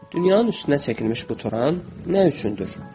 Dünyanın üstünə çəkilmiş bu toran nə üçündür?